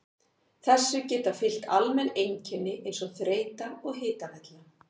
Þessu geta fylgt almenn einkenni eins og þreyta og hitavella.